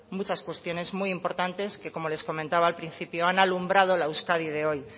muchas cuestiones muy importantes que como les comentaba al principio han alumbrado la euskadi de hoy